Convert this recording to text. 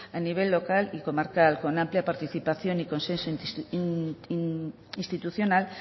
a nivel local y comarcal con amplia participación y consenso institucional